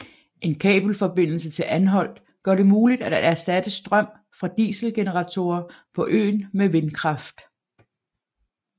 En kabelforbindelse til Anholt gør det muligt at erstatte strøm fra dieselgeneratorer på øen med vindkraft